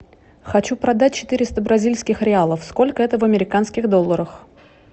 хочу продать четыреста бразильских реалов сколько это в американских долларах